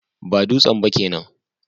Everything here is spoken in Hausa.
Ba dutsen ba kenan